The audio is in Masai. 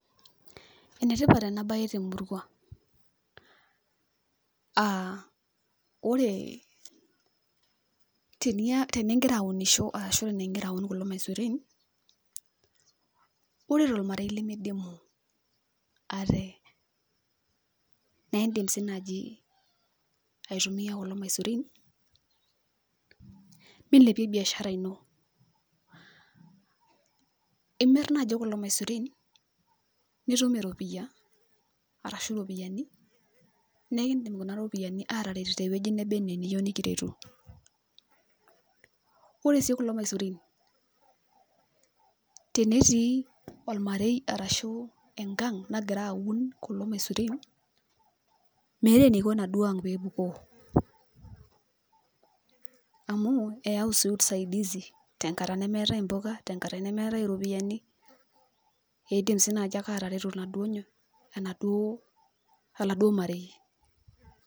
Enetipat enabae temurua, ah ore tenigira aunisho arashu tenigira aun kulo maisurin, ore tormarei limidimu ate, na idim si naji aitumia kulo maisurin, milepie biashara ino. Imir naji kulo maisurin, nitum eropiyia, arashu ropiyiani, nekidim kuna ropiyiani ataret tewueji neba enaa eniyieu nikiretu. Ore si kulo maisurin, tenetii ormarei arashu enkang' nagira aun kulo maisurin, meeta eniko enaduo ang' pepukuo. Amu eau si usaidizi tenkata nemeetae impuka, tenkata nemeetae iropiyiani, idim si naji ake atareto iladuo nyoo, enaduo, oladuo marei.